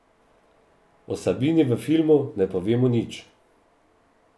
O Sabini v filmu ne povemo nič.